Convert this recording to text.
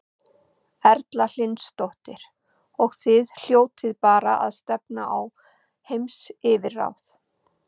Erla Hlynsdóttir: Og þið hljótið bara að stefna á heimsyfirráð?